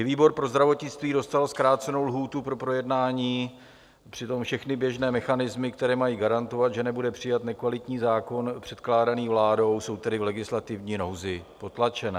I výbor pro zdravotnictví dostal zkrácenou lhůtu pro projednání, přitom všechny běžné mechanismy, které mají garantovat, že nebude přijat nekvalitní zákon předkládaný vládou, jsou tedy v legislativní nouzi potlačené.